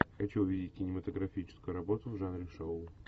хочу увидеть кинематографическую работу в жанре шоу